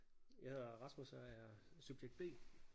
Jeg hedder Rasmus og er subjekt B